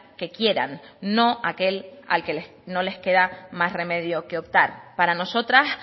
que quieran no aquel al que no les queda más remedio que optar para nosotras